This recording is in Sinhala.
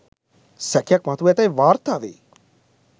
සැකයක් මතුව ඇතැයි වාර්තා වේ